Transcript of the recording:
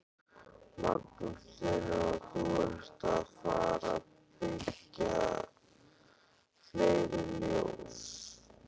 Magnús Hlynur: Og þú ert að fara byggja fleiri fjós?